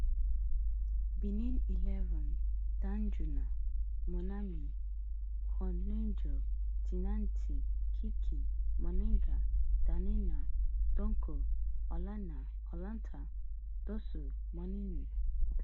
benin moumini tijani kiki dalmeida dokou olaitan dossou mounie